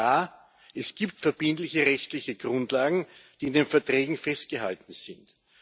Ja, es gibt verbindliche rechtliche Grundlagen, die in den Verträgen festgehalten sind.